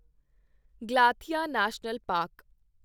Galathea national park